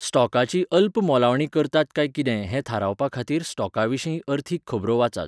स्टॉकाची अल्प मोलावणी करतात काय किदें हें थारावपा खातीर स्टॉका विशीं अर्थीक खबरो वाचात.